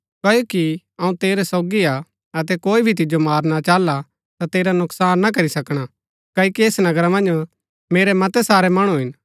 क्ओकि अऊँ तेरै सोगी हा अतै कोई भी तिजो मारणा चाहला ता तेरा नुकसान ना करी सकणा क्ओकि ऐस नगरा मन्ज मेरै मतै सारै मणु हिन